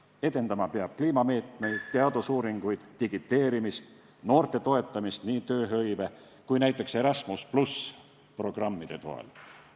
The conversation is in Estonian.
Edendama peab kliimameetmeid, teadusuuringuid, digiteerimist ning noorte toetamist nii tööhõive kui ka näiteks Erasmus+ programmide toel.